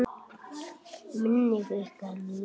Minning ykkar lifir.